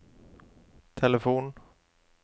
telefon